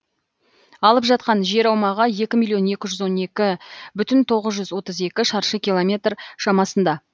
алып жатқан жер аумағы екі миллион екі жүз он екі бүтін тоғыз жүз отыз екі шаршы километр шамасында